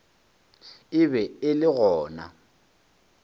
e be e le gona